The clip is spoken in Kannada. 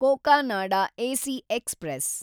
Cocanada AC express